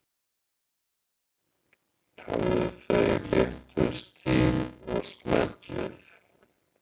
Hafðu það í léttum stíl og smellið